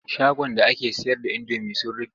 Shagon da ake sayar da indomi sun rufe.